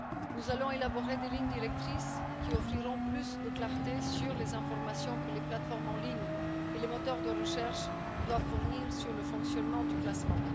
Nous allons élaborer des lignes directrices qui offriront plus de clarté sur les informations que les plateformes en ligne et les moteurs de recherche doivent fournir sur le fonctionnement du classement.